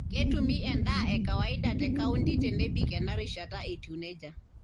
Ketumi endaa e kawaida te kaunti tenebik ena rishata etiu neijia.